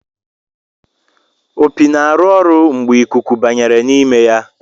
Opi na-arụ ọrụ mgbe ikuku Blum n'ime ya.